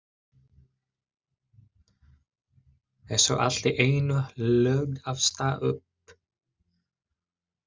Er svo allt í einu lögð af stað upp.